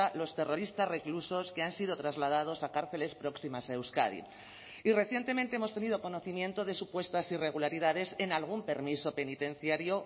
los terroristas reclusos que han sido trasladados a cárceles próximas a euskadi y recientemente hemos tenido conocimiento de supuestas irregularidades en algún permiso penitenciario